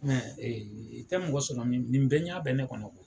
Mɛ ee i tɛ mɔgɔ sɔrɔ min nin nin bɛɛ ne kɔnɔ